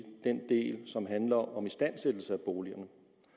den del som handler om istandsættelse af boligerne